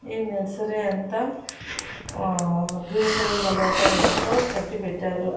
ఈ నర్సరీ అంత ఆ గ్రీన్ కలర్ వల పై తో కట్టి పెట్టారు.